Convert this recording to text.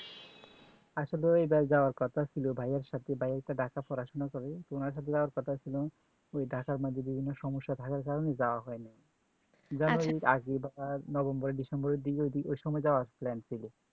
আসলে এই বার যাওয়ার কথা ছিল ভাইয়ার সাথে ভাইয়া ঢাকা পড়াশোনা করে তো ওনার সাথে যাওয়ার কথা ছিল ওই ঢাকা মাঝে বিভিন্ন সমস্যা থাকার কারণে যাওয়া হয়নি January এর আগে বার November December দিকে ওই দিকে ওই সময় যাবার plan ছিল